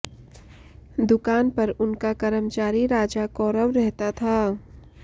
दुकान पर उनका कर्मचारी राजा कौरव रहता था